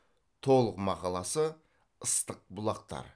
толық мақаласы ыстық бұлақтар